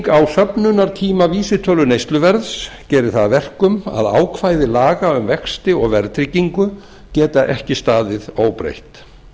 söfnunartíma vísitölu neysluverðs gerir það að verkum að ákvæði laga um vexti og verðtryggingu geta ekki staðið óbreytt